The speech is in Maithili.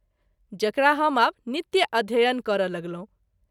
जकरा हम आब नित्य अध्ययन करय लगलहुँ।